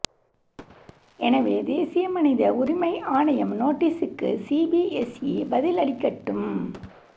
எனவே தேசிய மனித உரிமை ஆணையம் நோட்டீஸுக்கு சிபிஎஸ்இ பதிலளிக்கட்டும்